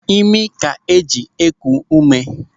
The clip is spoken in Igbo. Ịmị ka e ji eku ume.